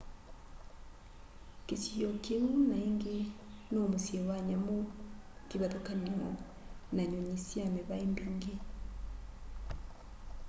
kĩsio kĩũ naĩngĩ no mũsyĩ wa nyamũ kĩvathũkanyo na nyũnyĩ sha mĩvaĩ mĩngĩ